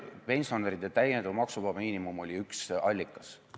Pensionäride täiendav maksuvaba miinimum oli üks allikaid.